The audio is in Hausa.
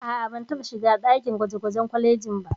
A'a, ban taɓa shiga ɗakin gwaje-gwajen kwalejin ba.